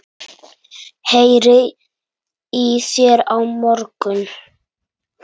Heyri í þér á morgun.